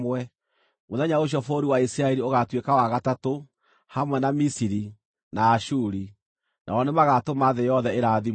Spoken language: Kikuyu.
Mũthenya ũcio bũrũri wa Isiraeli ũgaatuĩka wa gatatũ, hamwe na Misiri na Ashuri, nao nĩmagatũma thĩ yothe ĩrathimwo.